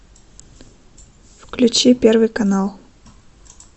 включи первый канал